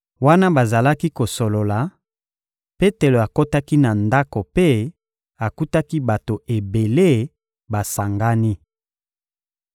Wana bazalaki kosolola, Petelo akotaki na ndako mpe akutaki bato ebele basangani.